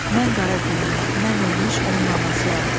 Mən qara günlü, mən ölmüş onun anasıyam.